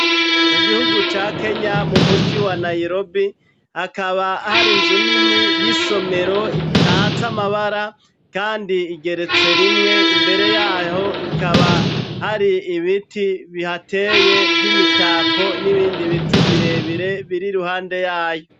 Mu gihugu ca Kenya mu muji wa Nairobi, hakaba hari Inzu nini y'isomero, itatse Amabara, kandi igeretse rimwe, imbere yaho ikaba hari ibiti bihateye vy'imitako, n'ibindi biti birebire biri ruhande yayo.